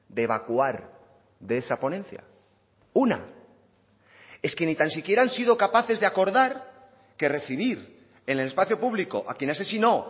de evacuar de esa ponencia una es que ni tan siquiera han sido capaces de acordar que recibir en el espacio público a quien asesinó